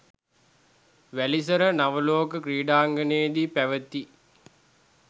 වැලිසර නවලෝක ක්‍රීඩාංගණයේදී පැවති